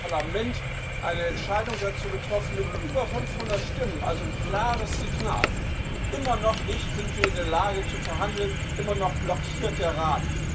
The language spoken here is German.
Wir haben als Parlament eine Entscheidung dazu getroffen mit über 500 Stimmen, also ein klares Signal und immer noch sind wir nicht in der Lage zu verhandeln, immer noch blockiert der Rat.